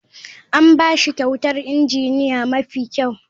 An ba shi kyautar injiniya mafi kyau.